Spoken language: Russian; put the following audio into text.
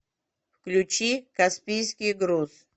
включи каспийский груз